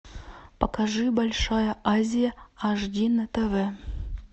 покажи большая азия аш ди на тв